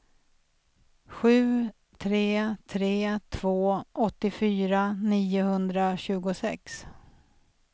sju tre tre två åttiofyra niohundratjugosex